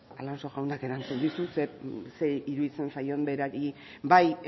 zer iruditzen zaion berari bai